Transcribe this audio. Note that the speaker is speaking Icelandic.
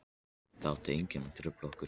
Það átti enginn að trufla okkur.